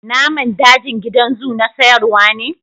Naman dajin gidan zoo na sayarwa ne.